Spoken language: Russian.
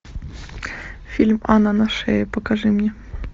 фильм анна на шее покажи мне